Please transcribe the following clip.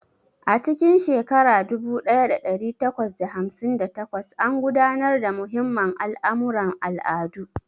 A cikin shekara dubu ɗaya da ɗari takwas da hamsin da takwas, an gudanar da muhimman al'amuran al'adu.